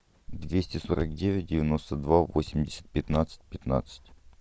двести сорок девять девяносто два восемьдесят пятнадцать пятнадцать